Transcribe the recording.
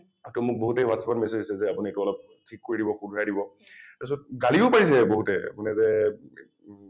টো মোক বহুতে WhatsApp ত message দিছে যে আপুনি এইটো অলপ ঠিক কৰি দিব শুধৰাই দিব । তাৰ পিছত গলিও পৰিছে বহুতে মানে যে